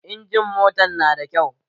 Injimin motan na da kyau